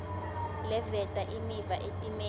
leveta imiva etimeni